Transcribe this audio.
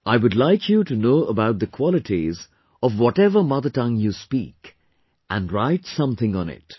I would like you to know about the qualities of whatever mother tongue you speak and write something in it